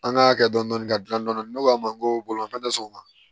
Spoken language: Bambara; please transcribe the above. An ka hakɛ dɔni ka gilan dɔɔni ne k'a ma ko bolifɛn tɛ sɔn o ma